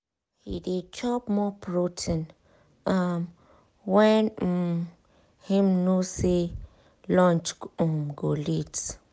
he dey chop more protein um when um um him know say lunch um go late.